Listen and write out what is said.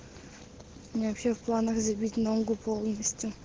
у меня вообще в планах забить ногу полностью